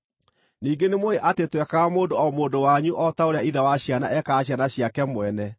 Ningĩ nĩmũũĩ atĩ twekaga mũndũ o mũndũ wanyu o ta ũrĩa ithe wa ciana ekaga ciana ciake mwene,